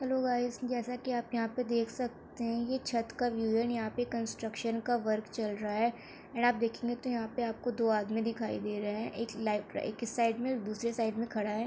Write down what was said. Hello guys आप देख सकते है ये छत का व्यू है यहाँ पर कंट्रक्सन का वर्क चल चल रहा है आप देखेंगे की यहाँ पे दो आदमी दिखाई दे रहे है एक लेफ्ट एक साइड में दूसरे साइड में खड़ा है।